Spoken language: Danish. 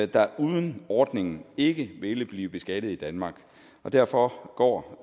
der uden ordningen ikke ville blive beskattet i danmark og derfor går